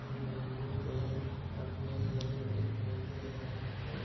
और यहाँ के आदमी हमे दिखाई दे रहा है।